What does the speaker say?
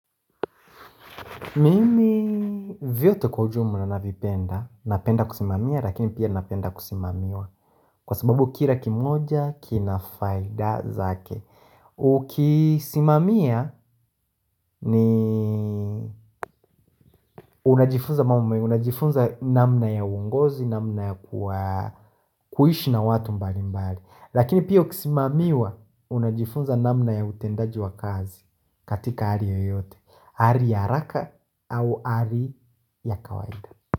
Mimi vyote kwa ujumla navipenda, napenda kusimamia lakini pia napenda kusimamiwa. Kwa sababu kila kimoja kina faida zake Ukisimamia ni unajifunza mambo mengi unajifunza namna ya uongozi, namna ya kuishi na watu mbali mbali. Lakini pia ukisimamiwa unajifunza namna ya utendaji wa kazi katika hali yoyote hali ya haraka au hali ya kawaida.